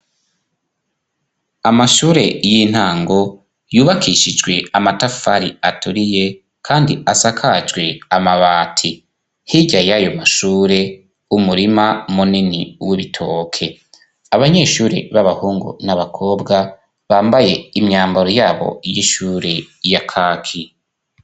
Amashure y'intango yubakishijwe amatafari aturiye kandi asakajwe amabati. Hirya y' ayo mashure, umurima munini w'ibitoke. Abanyeshure b'abahungu n'abakobwa bambaye imyambaro yabo y'ishure ya kaki.